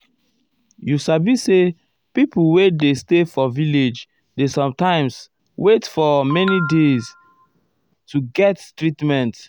you sabi say pipo wey um dey stay for village dey sometimes erm wait for um many days many days to get treatment.